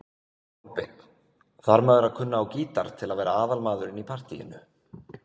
Kolbeinn: Þarf maður að kunna á gítar til að vera aðalmaðurinn í partýinu?